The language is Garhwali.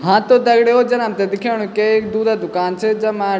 हाँ त दगड़ियों जन हमथे दिखेणु के एक दूधे दूकान च जम्मा।